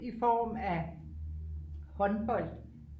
i form af håndbold